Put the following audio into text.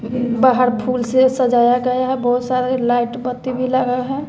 बाहर फूल से सजाया गया है बहुत सारे लाइट बत्ती भी लगे हैं।